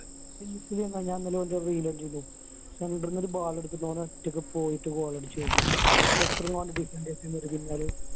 insta ല് ഞാൻ ഇന്നലെ ഓൻ്റെ ഒരു reel കണ്ടിരുന്നു center ന്ന് ഒരു ball എടുത്തിട്ട് ഓൻ ഒറ്റയ്ക്ക് പോയിട്ട് goal അടിച്ചു വരുന്നു എത്ര മാനം defend കിട്ടി